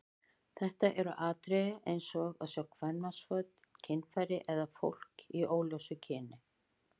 Þetta eru atriði eins og að sjá kvenmannsföt, kynfæri eða fólk af óljósu kyni.